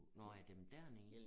Nårh ja dem dér nede